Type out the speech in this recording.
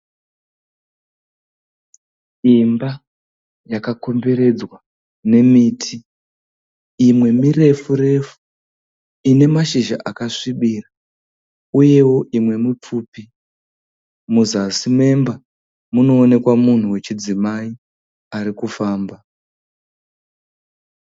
Imba yakakomberedzwa nemiti, imwe mirefu refu ine mashizha akasvibira, uyewo imwe mupfupi. Muzasi memba munoonekwa munhu wechidzimai arikufamba.